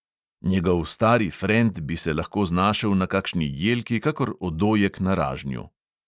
Njegov stari frend bi se lahko znašel na kakšni jelki kakor odojek na ražnju.